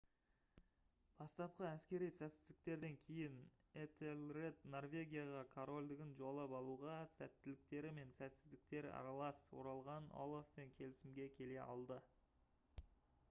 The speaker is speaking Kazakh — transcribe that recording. бастапқы әскери сәтсіздіктерден кейін этельред норвегияға корольдығын жаулап алуға сәттіліктері мен сәтсіздіктері аралас оралған олафпен келісімге келе алды